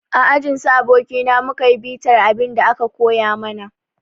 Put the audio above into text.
A ajin su abokina mu ka yi bitar abin da aka koya mana.